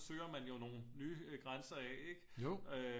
Søger man jo nogle nye grænser af ikke